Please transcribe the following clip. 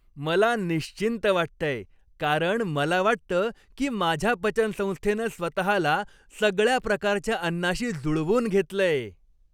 मला निश्चिंत वाटतंय, कारण मला वाटतं की माझ्या पचनसंस्थेनं स्वतःला सगळ्या प्रकारच्या अन्नाशी जुळवून घेतलंय.